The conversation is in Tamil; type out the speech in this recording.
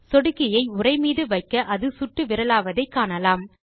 சொடுக்கியை உரை மீது வைக்க அது சுட்டுவிரலாவதை காணலாம்